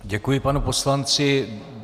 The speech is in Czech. Děkuji panu poslanci.